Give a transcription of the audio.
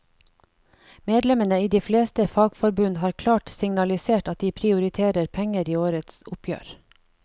Medlemmene i de fleste fagforbund har klart signalisert at de prioriterer penger i årets oppgjør.